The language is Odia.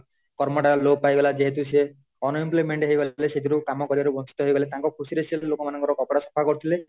କର୍ମ ଟା ଲୋପ ପାଇଗଲା ଯେହେତୁ ସେ unemployment ହେଇଗଲେ ସେଥିରୁ କାମ କରିବାରୁ ବଞ୍ଚିତ ହେଇ ଗଲେ ତାଙ୍କ ଖୁସିରେ ସେ ଲୋକମାନଙ୍କ କପଡା ସଫା କରୁଥିଲେ